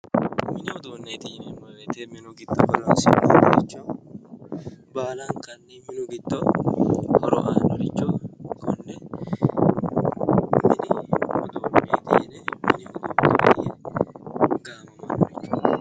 Mini uduuneti yineemmo woyte minu giddo heeraricho baallankaricho horo aanoricho kone mini uduuneti yineemmo ,mini uduuneti yinnenna gaamammano.